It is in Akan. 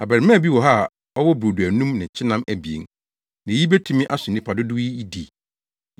“Abarimaa bi wɔ ha a ɔwɔ brodo anum ne kyenam abien; na eyi betumi aso nnipa dodow yi di?”